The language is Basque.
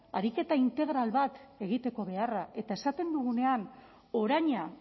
ariketa integral bat egiteko beharra eta esaten dugunean oraina